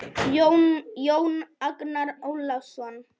Jón Agnar Ólason